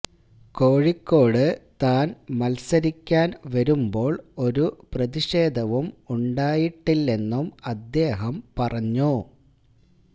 കോഴിക്കോട് താൻ മത്സരിക്കാൻ വരുമ്പോൾ ഒരു പ്രതിഷേധവും ഉണ്ടായിട്ടില്ലെന്നും അദ്ദേഹം പറഞ്ഞു